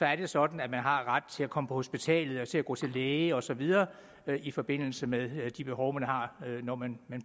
er det sådan at man har ret til at komme på hospitalet til at gå til læge og så videre i forbindelse med de behov man har når man